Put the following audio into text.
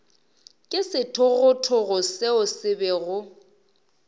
ke sethogothogo seo se bego